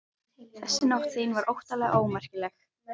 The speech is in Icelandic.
Þessi Nótt þín var óttalega ómerkileg.